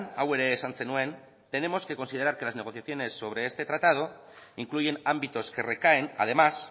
hau ere esan zenuen tenemos que considerar que las negociaciones sobre este tratado incluyen ámbitos que recaen además